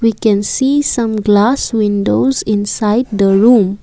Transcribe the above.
we can see some glass windows inside the room.